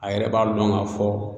A yɛrɛ b'a lɔn k'a fɔ